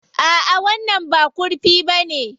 A'a, wannan ba kurfi bane.